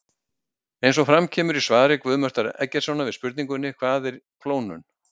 Eins og fram kemur í svari Guðmundar Eggertssonar við spurningunni Hvað er klónun?